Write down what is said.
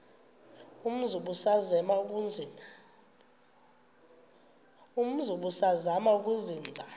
umzi ubusazema ukuzinza